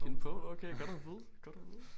Give en pole okay godt at vide godt at vide